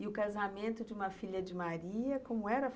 E o casamento de uma filha de Maria, como era?